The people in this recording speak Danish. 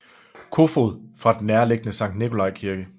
Kofoed fra den nærliggende Sankt Nicolai Kirke